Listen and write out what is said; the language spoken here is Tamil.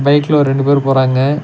பைக்ல ஒரு ரெண்டு பேர் போறாங்க.